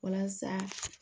Walasa